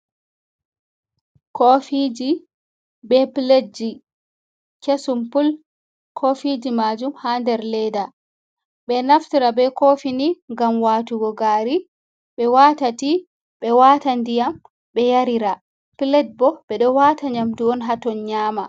Kofiji be pletji kesum pul. Kofiji majum ha nder leda. Ɓe naftira be kofini ngam watugo gari, ɓe wata ti, ɓe wata ndiyam ɓe yarira. Pletji bo ɓe ɗo wata nyamdu on ha ton nyaama.